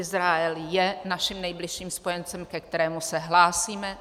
Izrael je naším nejbližším spojencem, ke kterému se hlásíme.